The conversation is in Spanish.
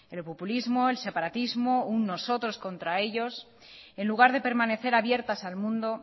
el populismo el separatismo un nosotros contra ellos en lugar de permanecer abiertas al mundo